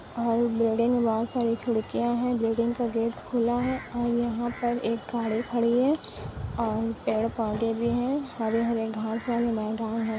और बिल्डिंग में बहुत सारी खिड़किया है बिल्डिंग का गेट खुला है और यहाँ पे एक गाडी खड़ी है और पेड़ पौधे भी हे हरे हरे घास वाले मैदान है।